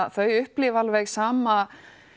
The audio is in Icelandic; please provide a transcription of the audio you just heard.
að þau upplifi alveg sama